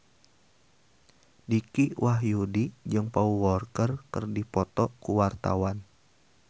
Dicky Wahyudi jeung Paul Walker keur dipoto ku wartawan